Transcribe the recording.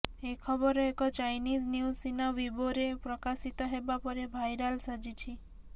ଏ ଖବର ଏକ Chinese news Sina ୱିବୋରେ ପ୍ରକାଶିତ ହେବା ପରେ ଭାଇରାଲ ସାଜିଛି